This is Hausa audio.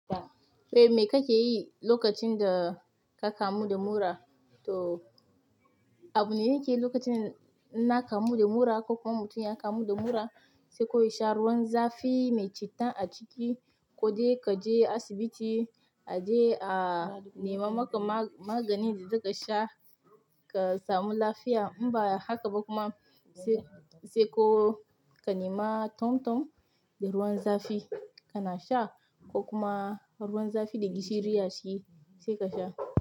Eh, me kake yi lokacin da ka kamu da mura? To, abu ne nake yi lokacin na kamu de mura ko kuma mutum ya kamu da mura, sai koyi sha ruwan zafi mai citta a ciki, ko dai ka je asibiti a je a nema maka ma-maganin da za ka sha ka samu lafiya. Inba haka ba kuma sai, sai ko ka nema tomtom de ruwan zafi ka na sha ko kuma ruwan zafi da gishiri a ciki sai ka sha.